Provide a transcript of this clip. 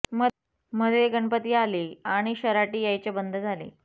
मधे गणपती आले आणि शराटी यायचे बंद झाले